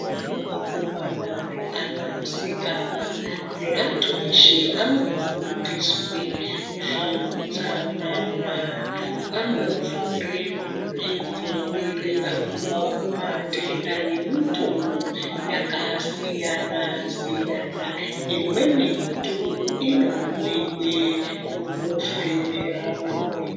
Kune ana akomana neana asikana neantu eshe anofundiswe zveutsanana. Anofundire kuzvidziirira kubva kumatenda nemitovo yakasiyana siyana. Imweni mitungu inoonekwa mukufemerana mweya.